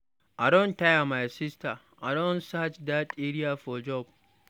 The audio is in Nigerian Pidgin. I don tire my sister. I don search dat area for job.